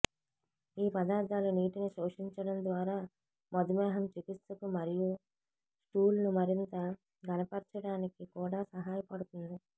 ఈ పదార్ధాలు నీటిని శోషించడం ద్వారా మధుమేహం చికిత్సకు మరియు స్టూల్ను మరింత ఘనపర్చడానికి కూడా సహాయపడుతుంది